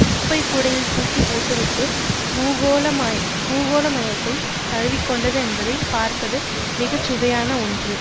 குப்பைக்கூடையில் தூக்கி போட்டுவிட்டு பூகோளமயத்தை தழுவிக்கொண்டது என்பதை பார்ப்பது மிக சுவையான ஒன்று